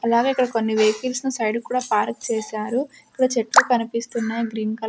అలాగే ఇక్కడ కొన్ని వెహికల్ స్ని సైడ్ కు కూడా పార్క్ చేశారు. ఇక్కడ చెట్లు కనిపిస్తున్నాయ్ గ్రీన్ కల --